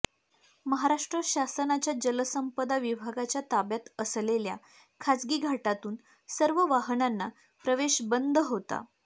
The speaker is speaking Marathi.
महाराष्ट्र शासनाच्या जलसंपदा विभागाच्या ताब्यात असलेल्या खाजगी घाटातून सर्व वाहनांना प्रवेश बंद होता